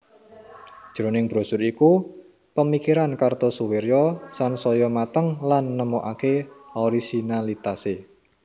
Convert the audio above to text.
Jroning brosur iku pemikiran Kartosoewirjo sansaya mateng lan nemokake orisinalitase